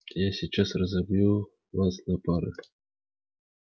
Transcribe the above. я сейчас разобью вас на пары